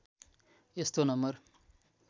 यस्तो नम्बर